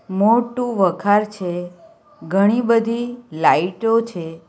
મોટુ વખાર છે ઘણી બધી લાઈટો છે.